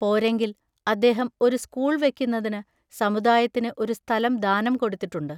പോരെങ്കിൽ അദ്ദേഹം ഒരു സ്കൂൾ വെക്കുന്നതിനു സമുദായത്തിന് ഒരു സ്ഥലം ദാനം കൊടുത്തിട്ടുണ്ട്.